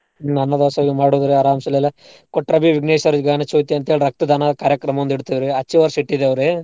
ಹ್ಮ್ ಅನ್ನ ದಾಸೋಹಗ್ ಮಾಡೋದ್ರೀ ಅರಾಮ್ಸೆಲೆಲ್ಲ ಕೋಟ್ರಾಬಿ ವಿಘ್ನೇಶ್ವರ ಗಾನ ಚೌತಿ ಅಂತೇಳಿ ರಕ್ತ ದಾನ ಕಾರ್ಯಕ್ರಮ ಒಂದ್ ಇಡ್ತೇವ್ ರೀ ಅಚ್ಚೆ ವರ್ಷ ಇಟ್ಟಿದೇವ್ ರೀ.